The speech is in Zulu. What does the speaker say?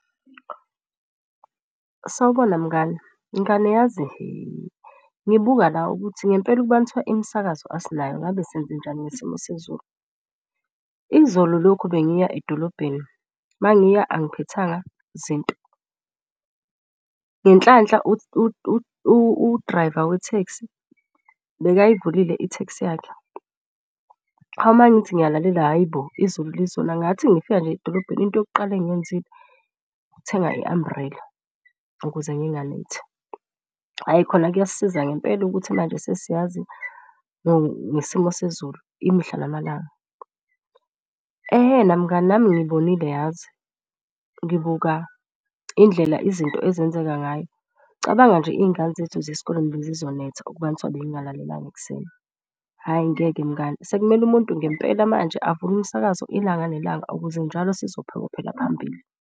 Sawubona mngani, mngani yazi he ngibuka la ukuthi ngempela ukubani kuthiwa imisakazo asinayo ngabe senzenjani ngesimo sezulu. Izolo lokhu bengiya edolobheni mangiya angiphethanga zinto ngenhlanhla u-driver wetheksi bekayivulile itheksi yakhe. Hawu uma ngithi ngiyalalela hhayi bo, izulu lizona. Ngathi ngifika nje edolobheni into yokuqala engiyenzile ukuthenga i-umbrella ukuze nginganethi. Hhayi khona kuyasisiza ngempela ukuthi manje sesiyazi ngesimo sezulu imihla namalanga. Ehhena mngani nami ngiyibonile yazi ngibuka indlela izinto ezenzeka ngayo. Cabanga nje iy'ngane zethu esikoleni bezizonetha ukuba kuthiwa bengingalalelanga ekuseni. Hhayi ngeke mngani sekumele umuntu ngempela manje avule umsakazo ilanga nelanga, ukuze njalo sizophokophela phambili.